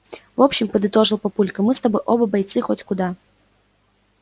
в общем подытожил папулька мы с тобой оба бойцы хоть куда